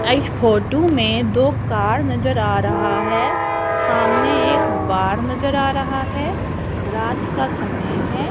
इस फोटो में दो कार नजर आ रहा है सामने एक बाढ नजर आ रहा है रात का समय है।